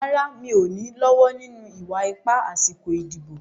Rárá, mi ò ní lọ́wọ́ nínú ìwà ipá àsìkò ìdìbò.